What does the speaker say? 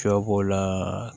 Sɔ b'o la